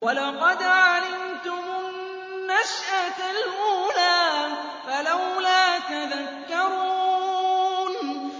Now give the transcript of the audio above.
وَلَقَدْ عَلِمْتُمُ النَّشْأَةَ الْأُولَىٰ فَلَوْلَا تَذَكَّرُونَ